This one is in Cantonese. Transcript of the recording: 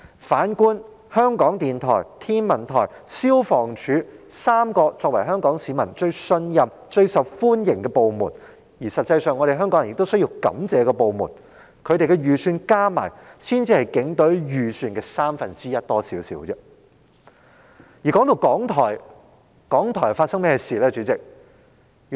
反觀香港電台、香港天文台和香港消防處這3個作為香港市民最信任、最受歡迎，而實際上香港人也需要感謝的部門，它們的預算開支加起來才稍多於警隊預算開支的三分之一。